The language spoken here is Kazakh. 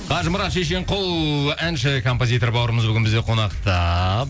қажымұрат шешенқұл әнші композитор бауырымыз бүгін бізде қонақта